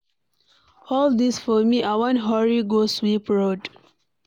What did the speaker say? Hold dis thing for me, I wan hurry go sweep road.